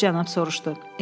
Üçüncü cənab soruşdu.